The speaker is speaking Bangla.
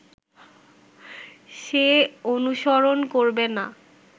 সে অনুসরণ করবে না